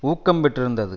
ஊக்கம் பெற்றிருந்தது